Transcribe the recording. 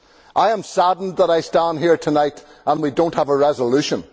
I am saddened that I stand here tonight and we do not have a resolution.